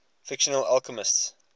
fictional alchemists